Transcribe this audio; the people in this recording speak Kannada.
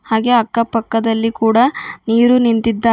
ಹಾಗೆ ಅಕ್ಕ ಪಕ್ಕದಲ್ಲಿ ಕೂಡ ನೀರು ನಿಂತಿದ್ದಾ--